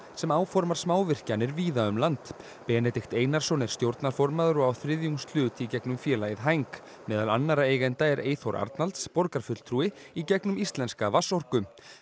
sem áformar smávirkjanir víða um land Benedikt Einarsson er stjórnarformaður og á þriðjungshlut í gegnum félagið hæng meðal annarra eigenda er Eyþór Arnalds borgarfulltrúi í gegnum Íslenska vatnsorku